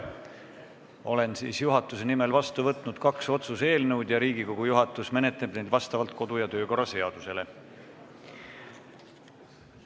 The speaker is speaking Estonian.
Olen juhatuse nimel vastu võtnud kaks otsuse eelnõu ja Riigikogu juhatus menetleb neid meie kodu- ja töökorra seaduse kohaselt.